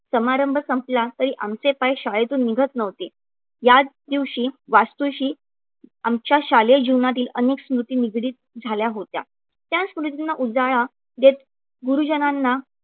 समारंभ संपला तरी आमचे पाय शाळेतून निघत नव्हते. याच दिवशी वास्तूशी आमच्या शालेय जीवनातील अनेक स्मृती निगडीत झाल्या होत्या. त्या स्मृतींना उजाळा देत गुरुजनांना